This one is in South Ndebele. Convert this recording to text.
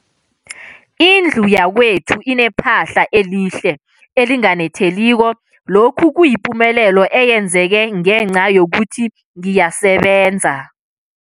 Indlu yakwethu inephahla elihle, elinganetheliko, lokhu kuyipumelelo eyenzeke ngenca yokuthi ngiyasebenza.